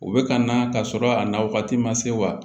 U bɛ ka na ka sɔrɔ a na wagati ma se wa